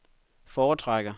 foretrækker